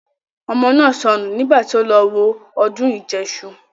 Ọmọ náà sọnù nígbà tí ó lọ wo ọdún ìjẹṣu